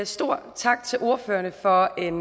stor tak til ordførerne for en